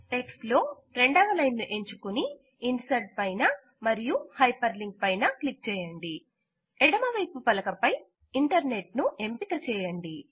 text లో రెండవలైన్ ను ఎంచుకుని ఇన్సర్ట్ పైనా మరియు హైపర్ లింక్ పైన క్లిక్ చేయండి ఎడమవైపు పలక పై ఇంటర్నెట్ ను ఎంపిక చేయండి